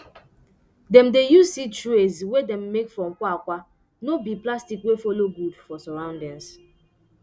dem dey use seed trays wey dem make from kwakwa no be plastic wey follow good for surroundings